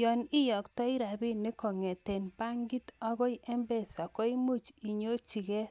Yoon iyoktoi rabinik kong'eten bankit akoi mpesa koimuch inyorchikee